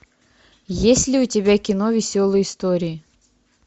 есть ли у тебя кино веселые истории